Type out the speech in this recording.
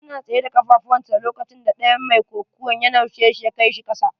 Yana tsaye da kafafun sa lokaconda ɗayan mai kokuwan ya naushe shi ya kai shi kasa.